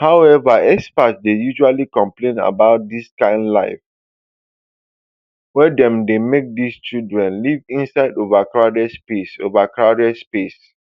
however experts dey usually complain about di kain life wey dem dey make di children live inside overcrowded spaces overcrowded spaces